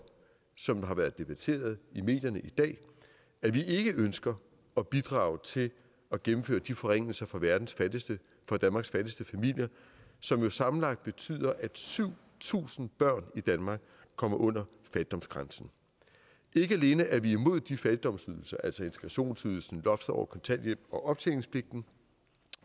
som det har været debatteret i medierne i dag at vi ikke ønsker at bidrage til at gennemføre de forringelser for verdens fattigste for danmarks fattigste familier som jo sammenlagt betyder at syv tusind børn i danmark kommer under fattigdomsgrænsen ikke alene er vi imod de fattigdomsydelser altså integrationsydelsen loftet over kontanthjælp og optjeningspligten